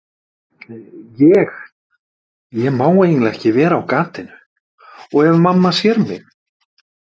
Ég, ég má eiginlega ekki vera á gatinu. og ef mamma sér mig.